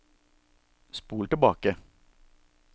spol tilbake